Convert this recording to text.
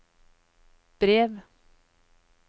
brev